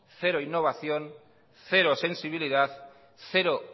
cero innovación cero sensibilidad cero